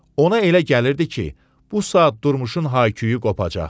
Ona elə gəlirdi ki, bu saat Durmuşun hay-küyü qopacaq.